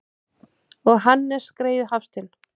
Og Hannes greyið Hafstein!